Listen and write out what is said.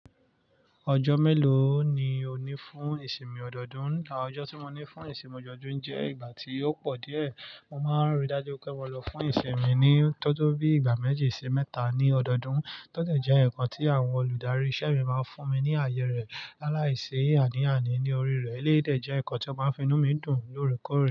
Ọjọ́ mélòó ni o ní fún ìsinmi ọdọọdún? À ọjọ́ tí mo ní fún ìsinmi ọdoodún jẹ́ ìgbà tí ó pọ̀ díẹ̀. Mo máa ń ri dájú pé mo lọ fún ìsinmì ni tó tó bí ìgbà méjì sí mẹ́ta ní ọdọọdún. Tọ́dẹ̀ jẹ́ ǹnkan tí àwọn olùdarí iṣẹ́ mi máa ń fún mi ní àyẹ rẹ̀ láláìsí àníaàní ní orí rẹ̀. Eleyi dẹ̀ jẹ́ nkan tí ó máa ń fi inú mi dùn lóòrèkóòrè.